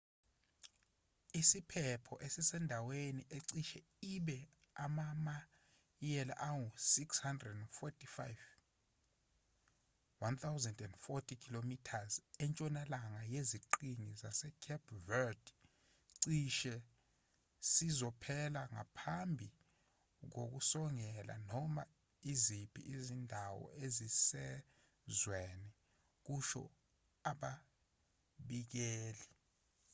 isiphepho esisendaweni ecishe ibe amamayela angu-645 1040 km entshonalanga yeziqhingi zasecape verde cishe sizophela ngaphambi kokusongela noma iziphi izindawo ezisezweni kusho ababikezeli